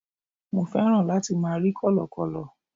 mo fẹ́ràn láti ma rí kọlọkọlọ